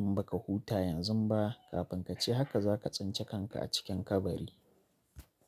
in baka huta yanzu ba kafin kace haka zaka tsince kanka a cikin kabari.